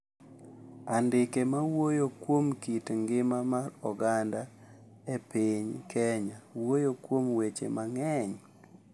Andike ma wuoyo kuom kit ngima mar oganda e piny Kenya wuoyo kuom weche mang’eny